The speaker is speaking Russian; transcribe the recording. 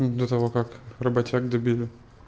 до того как работяг добили